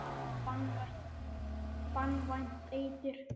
Banvænt eitur.